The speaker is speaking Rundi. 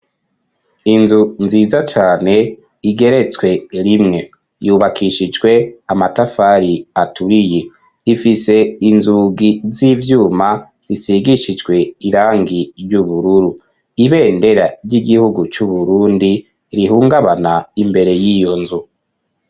Inzu nziza cane igeretswe rimwe yubakishijwe amatafari aturiye ifise inzugi z'ivyuma zisigishijwe irangi ry'ubururu ibendera ry'igihugu cu Burundi rihungabana imbere y'iyonzu.